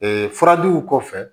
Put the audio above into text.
furajiw kɔfɛ